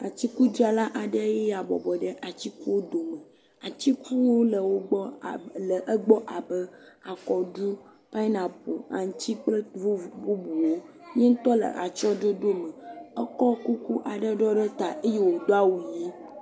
Atikudzrala aɖe nye ya bɔbɔ ɖe atikuwo dome. Atiku le wo gbɔ, le egbɔ abe akɔɖu, pianapel, aŋtsi kple vovo, bubuwo ye ŋutɔ le atsɔɖoɖo me ekɔ kuku aɖe ɖɔ ɖe ta eye wod awu ʋi